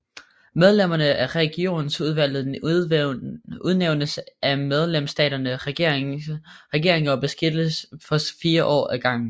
Medlemmerne af Regionsudvalget udnævnes af medlemsstaternes regeringer og beskikkes for fire år ad gangen